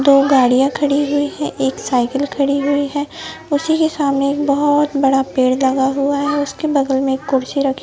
दो गाड़ियां खड़ी हुई है एक साइकिल खड़ी हुई है उसी के सामने एक बहोत बड़ा पेड़ लगा हुआ है उसके बगल में कुर्सी रखी--